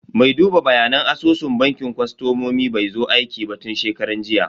Me duba bayanan asusun bankin kostomomi bai zo aiki ba tun shekaran jiya.